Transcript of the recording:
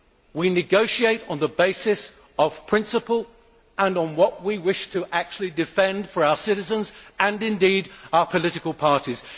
We negotiate on the basis of principle and on what we wish to actually defend for our citizens and indeed our political parties.